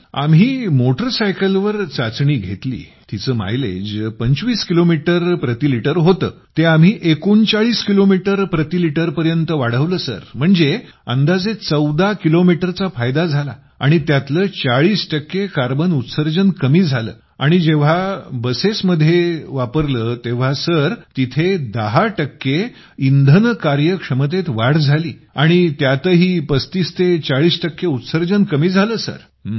sir आम्ही लोकांनी motor cycle वर चाचणी घेतली तिचे मायलेज 25 किलोमीटर प्रति लिटर होतं ते आम्ही 39 किलोमीटर प्रतिलिटर पर्यंत वाढवलं म्हणजे अंदाजे 14 किलोमीटरचा फायदा झाला आणि त्यातलं 40 टक्के कार्बन उत्सर्जन कमी झालं आणि जेव्हा बसेस मध्ये केलं तेव्हा तिथं 10 टक्के इंधन कार्यक्षमतेत वाढ झाली आणि त्यातही 3540 टक्के उत्सर्जन कमी झालं